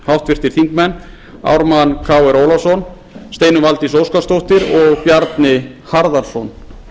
háttvirtur þingmaður ármann krónu ólafsson steinunn valdís óskarsdóttir og bjarni harðarson og í hópi sem vann að